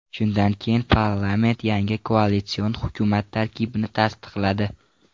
Shundan keyin parlament yangi koalitsion hukumat tarkibini tasdiqladi.